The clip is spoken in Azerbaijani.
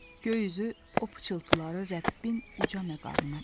Göy üzü o pıçıltıları Rəbbin uca məqamına çatdırır.